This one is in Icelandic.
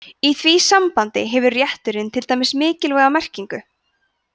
í því sambandi hefur rétturinn til að deyja mikilvæga merkingu